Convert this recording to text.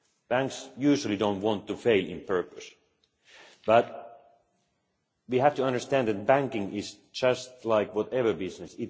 Banks usually do not want to fail on purpose, but we have to understand that banking is just like any business.